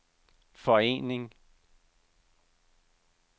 forening